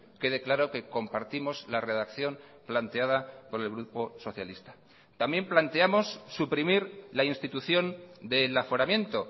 quede claro que compartimos la redacción planteada por el grupo socialista también planteamos suprimir la institución del aforamiento